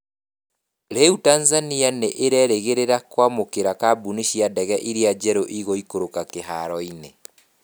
Rĩu Tanzania nĩ ĩrerĩgĩrĩra kwamũkĩra kambuni cia ndege iria njerũ igũikũrũka kĩharoinĩ.